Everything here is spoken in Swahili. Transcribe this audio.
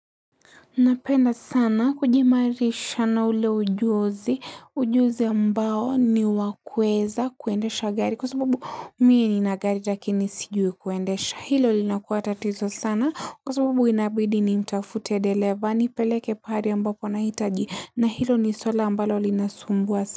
Napenda sana kujiimarisha na ule ujuzi. Ujuzi ambao ni wa kuweza kuendesha gari. Kwa sababu mie nina gari lakini sijui kuendesha. Hilo linakua tatizo sana. Kwa sababu inabidi ni mtafute dereva aNi peleke pahali ambapo na hitaji. Na hilo ni swala ambalo linasumbua.